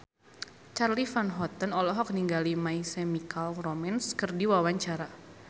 Charly Van Houten olohok ningali My Chemical Romance keur diwawancara